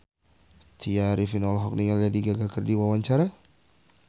Tya Arifin olohok ningali Lady Gaga keur diwawancara